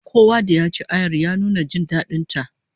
Kowa ya ci ayar, ya nuna jin dadin ta